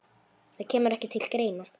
Það kemur ekki til greina.